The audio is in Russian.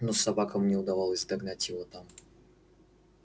но собакам не удавалось догнать его там